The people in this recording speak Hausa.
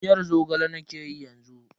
Miyar Zogale nakeyi yanzu.